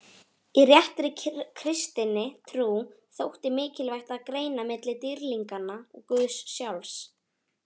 Í réttri kristinni trú þótti mikilvægt að greina milli dýrlinganna og guðs sjálfs.